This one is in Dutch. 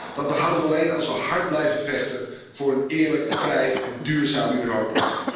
Dat behouden we alleen als we hard blijven vechten voor een eerlijk, vrij en duurzaam Europa.